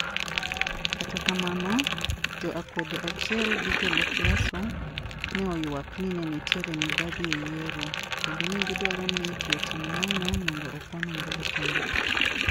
Kata kamano, jo akwede kaachiel gi jolup Lasso, ne oywak ni ne nitie mibadhi e yiero, kendo ne gidwaro ni ji otim ng'anyo mondo okwan ombulu kendo.